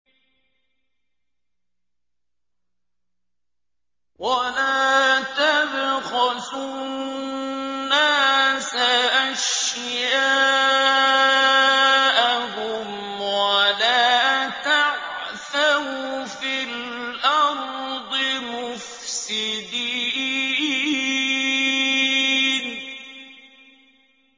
وَلَا تَبْخَسُوا النَّاسَ أَشْيَاءَهُمْ وَلَا تَعْثَوْا فِي الْأَرْضِ مُفْسِدِينَ